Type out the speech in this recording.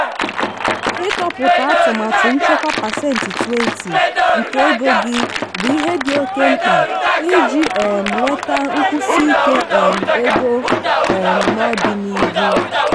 ịtọpụta atụmatụ nchekwa pasentị 20 nke ego gị bụ ihe dị oke mkpa iji um nweta nkwụsiike um ego um n'ọdịnihu.